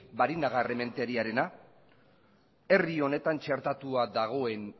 barinagarrementeriarena herri honetan txertatua dagoen